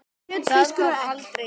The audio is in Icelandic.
Það kom aldrei til.